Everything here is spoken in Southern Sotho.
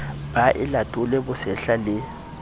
be a latole bosehla le